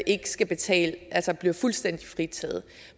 skal betale altså bliver fuldstændig fritaget